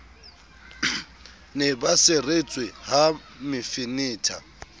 ne ba seretswe ha mefenetha